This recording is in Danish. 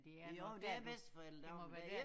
Jo det er bedsteforældredag men det